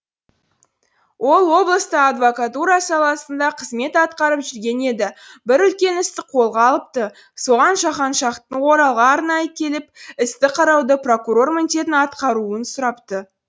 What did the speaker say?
ол облыста адвокатура саласында қызмет атқарып жүрген еді бір үлкен істі қолға алыпты соған жаһаншаһтың оралға арнайы келіп істі қарауда прокурор міндетін атқаруын сұрапты